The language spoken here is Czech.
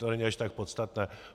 To není až tak podstatné.